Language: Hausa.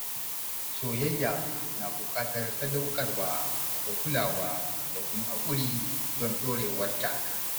Soyayya na buƙatar sadaukarwa da kulawa da kuma haƙuri don ɗorewarta.